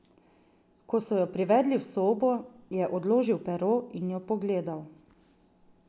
Ko so jo privedli v sobo, je odložil pero in jo pogledal.